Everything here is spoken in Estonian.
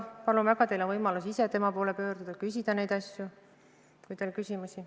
Palun väga, teil on võimalus ise tema poole pöörduda ja küsida neid asju, kui teil on küsimusi.